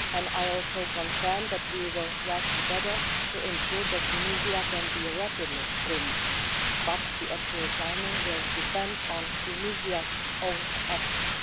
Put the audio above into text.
I also confirm that we will work together to ensure that Tunisia can be rapidly removed, but the actual timing will depend on Tunisia's own efforts.